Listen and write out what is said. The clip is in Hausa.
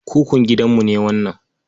Kukun gidanmu ne wannan.